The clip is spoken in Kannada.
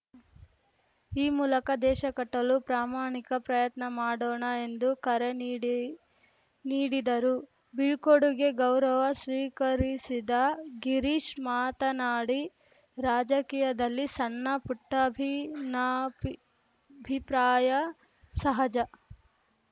ಈ ಮೂಲಕ ದೇಶ ಕಟ್ಟಲು ಪ್ರಾಮಾಣಿಕ ಪ್ರಯತ್ನ ಮಾಡೋಣ ಎಂದು ಕರೆ ನೀಡಿ ನೀಡಿದರು ಬೀಳ್ಕೊಡುಗೆ ಗೌರವ ಸ್ವೀಕರಿಸಿದ ಗಿರೀಶ್‌ ಮಾತನಾಡಿ ರಾಜಕೀಯದಲ್ಲಿ ಸಣ್ಣ ಪುಟ್ಟಭಿನ್ನಾಬಿಭಿಪ್ರಾಯ ಸಹಜ